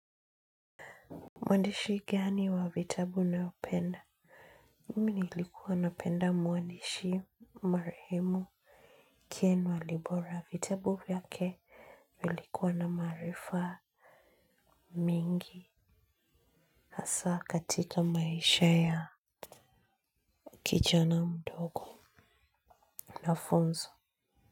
Mwandishi gani wa vitabu unayopenda Mimi nilikuwa napenda mwandishi marehemu ken walibora vitabu vyake. Vilikuwa na maarifa mengi hasa katika maisha ya kijana mdogo na funzo.